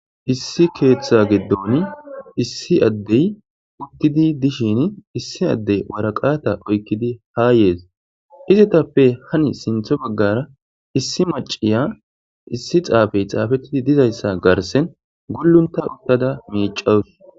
issi keeththa giddon issi addey uttidi dishin issi addey waraqata oykkidi haa yees izetappe hani sintho baggara issi maciya issi xaafey xaafettidi dizayssa garsen gullunta uttada miicawus